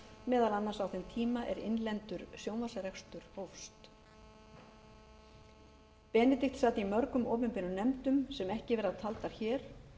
meðal annars á þeim tíma er innlendur sjónvarpsrekstur hófst benedikt sat í mörgum opinberum nefndum sem ekki verða taldar hér